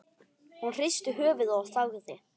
Hún hristi höfuðið og þagði.